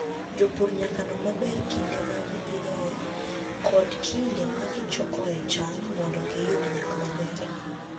Jopur nyaka non maber kinde ma gipidhoe kod kinde ma gichokoe cham mondo giyud nyak maber.